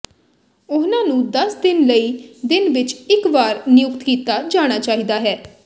ਉਹਨਾਂ ਨੂੰ ਦਸ ਦਿਨ ਲਈ ਦਿਨ ਵਿੱਚ ਇੱਕ ਵਾਰ ਨਿਯੁਕਤ ਕੀਤਾ ਜਾਣਾ ਚਾਹੀਦਾ ਹੈ